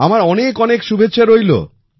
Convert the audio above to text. আমার অনেক অনেক শুভেচ্ছা রইল